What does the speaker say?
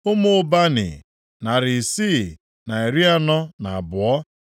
Ụmụ Bani, narị isii na iri anọ na abụọ (642).